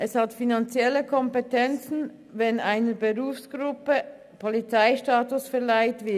Es hat finanzielle Konsequenzen, wenn einer Berufsgruppe der Polizeistatus verliehen wird.